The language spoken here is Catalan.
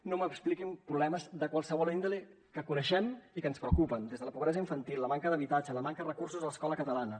no m’expliquin problemes de qualsevol índole que coneixem i que ens preocupen des de la pobresa infantil la manca d’habitatge la manca recursos a l’escola catalana